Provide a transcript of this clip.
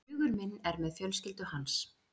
Hugur minn er með fjölskyldu hans.